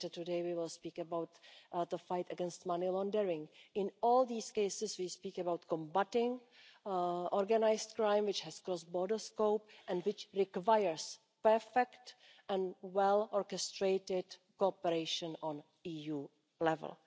Later today we will speak about the fight against money laundering. In all these cases we speak about combating organised crime, which has a cross border scope and which requires perfect and well orchestrated cooperation at EU level.